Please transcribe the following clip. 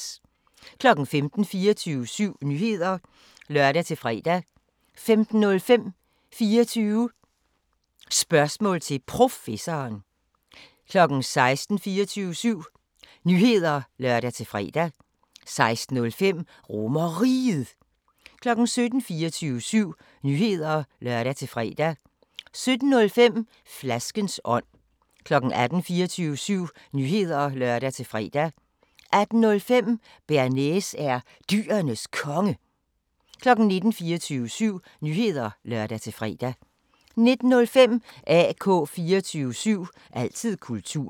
15:00: 24syv Nyheder (lør-fre) 15:05: 24 Spørgsmål til Professoren 16:00: 24syv Nyheder (lør-fre) 16:05: RomerRiget 17:00: 24syv Nyheder (lør-fre) 17:05: Flaskens ånd 18:00: 24syv Nyheder (lør-fre) 18:05: Bearnaise er Dyrenes Konge 19:00: 24syv Nyheder (lør-fre) 19:05: AK 24syv – altid kultur